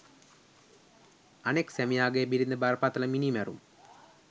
අනෙක් සැමියාගේ බිරිඳ බරපතල මිනීමැරුම්